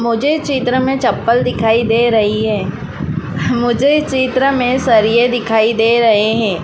मुझे चित्र में चप्पल दिखाई दे रही है मुझे चित्र में सरिये दिखाई दे रहे है।